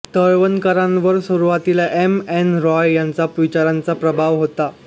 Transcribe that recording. तळवलकरांवर सुरुवातीला M N Roy यांच्या विचारांचा प्रभाव होता